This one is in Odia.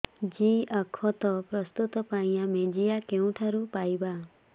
ଜିଆଖତ ପ୍ରସ୍ତୁତ ପାଇଁ ଆମେ ଜିଆ କେଉଁଠାରୁ ପାଈବା